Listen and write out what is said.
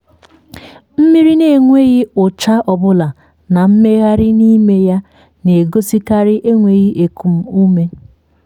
mmiri n’enweghị ụcha ọbụla na mmgharị n’ime ya na-egosikarị enweghi ekum ume.